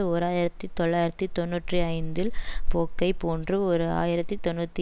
ஓர் ஆயிரத்தி தொள்ளாயிரத்தி தொன்னூற்றி ஐந்தில் போக்கை போன்று ஓரு ஆயிரத்தி தொன்னூத்தி